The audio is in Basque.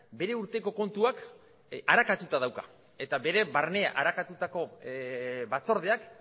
bere urteko kontuak arakatuta dauka eta bere barnea arakatutako batzordeak